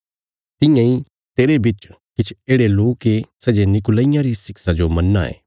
तियां इ तेरे बिच किछ येढ़े लोक ये सै जे नीकुलईयां री शिक्षां जो मन्नां ये